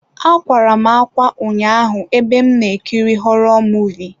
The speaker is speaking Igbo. Akwara m ákwá ụnyaahụ ebe m na-ekiri họrọ Muvịị.